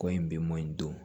Kɔyi bi mɔ in don